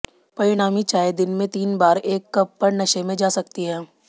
परिणामी चाय दिन में तीन बार एक कप पर नशे में जा सकती है